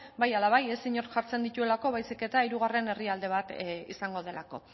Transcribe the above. bai ala bai ez inork jartzen dituelako baizik eta hirugarren herrialde bat izango delako